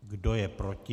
Kdo je proti?